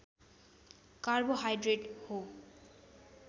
carbohydrate हो